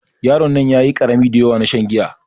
Yaron nan ƴaƴi karami daƴawa na shan giya.